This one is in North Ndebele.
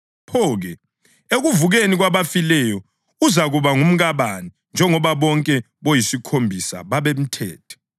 Pho-ke, ekuvukeni kwabafileyo uzakuba ngumkabani njengoba bonke boyisikhombisa babemthethe?”